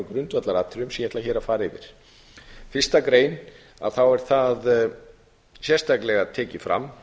ég ætla hér að fara yfir í fyrstu grein er sérstaklega tekið fram